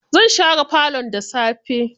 Zan share falon da safe.